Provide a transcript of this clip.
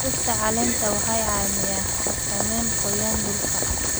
Dhirta caleenta waxay caawiyaan xakameynta qoyaan dhulka.